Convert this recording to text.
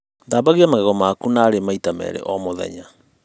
Thambia magego maku narī maita merī O mūthenya